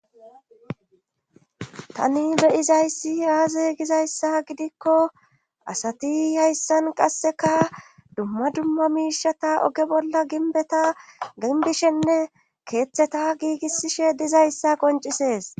tani beyizayssi aazey gizayssa gidikko asati hayssan qasseka dumma dumma miishata oge bolla ginbeta ginbishenne keeththeta giigisishe dizayssa qoncisees